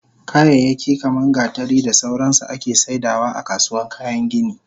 Kayayyaki kaman gatari da sauransu ake saidawa akasuwan kayan gini